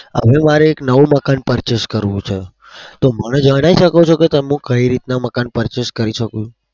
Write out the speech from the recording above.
હવે મારે એક નવું મકાન purchase કરવું છે. તો મને જણાઈ શકો છો કે હું કઈ રીતના મકાન purchase કરી શકું?